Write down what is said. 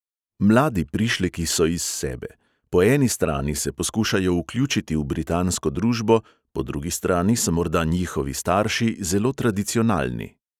Mladi prišleki so iz sebe; po eni strani se poskušajo vključiti v britansko družbo, po drugi strani so morda njihovi starši zelo tradicionalni.